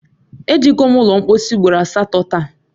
Ejego m ụlọ mpọsị ugboro asatọ taa